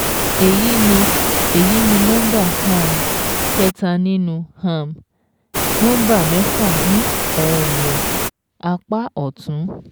Èyí ni Èyí ni nọ́mbà um kẹta nínú um nọ́mbà mẹ́fà ní ọ̀wọ̀n apá ọ̀tún